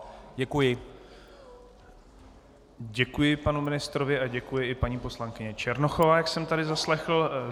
Děkuji panu ministrovi a děkuji i paní poslankyni Černochové, jak jsem tady zaslechl.